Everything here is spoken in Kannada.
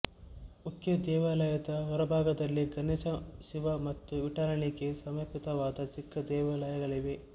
ಮುಖ್ಯ ದೇವಾಲಯದ ಹೊರಭಾಗದಲ್ಲಿ ಗಣೇಶ ಶಿವ ಮತ್ತು ವಿಠ್ಠಲನಿಗೆ ಸಮರ್ಪಿತವಾದ ಚಿಕ್ಕ ದೇವಾಲಯಗಳಿವೆ